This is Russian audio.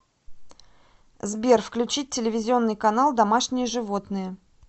сбер включить телевизионный канал домашние животные